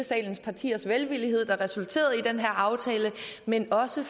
salens partiers velvillighed der resulterede i den her aftale men også